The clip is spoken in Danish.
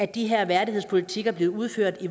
de her værdighedspolitikker bliver udført